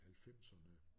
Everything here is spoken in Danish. Halvfemserne